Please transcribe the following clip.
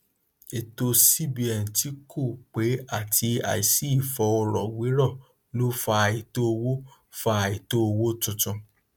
ètò cbn tí kò pé àti àìsí ìfọrọwérọ ló fa àìtó owó fa àìtó owó tuntun